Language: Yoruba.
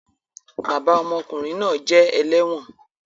Bàbà ọmọkunrin náà jẹ ẹlẹwọn